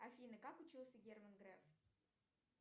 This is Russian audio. афина как учился герман греф